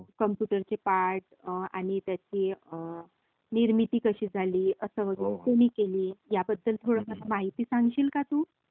कम्प्युटरचे part, आणि त्यांची निर्मिती कशी झाली अस वगैरे... कोणी केली ह्याबद्द्ल माहित सांगशील का तू..?